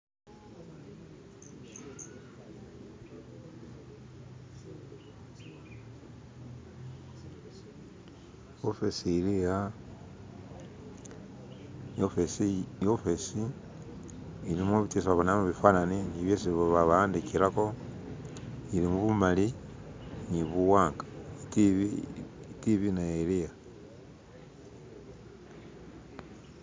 ofici iliha iwofici ilimo bitu byesi babonelamo bifanani ni byesi bawandikilako ilimubumali ni buwanga TV TV naye iliha